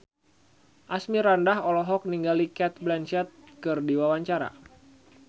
Asmirandah olohok ningali Cate Blanchett keur diwawancara